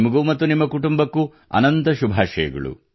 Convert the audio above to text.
ನಿಮಗೂ ಮತ್ತು ನಿಮ್ಮ ಕುಟುಂಬಕ್ಕೂ ಅನಂತ ಶುಭಾಷಯಗಳು